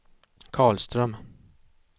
Karlström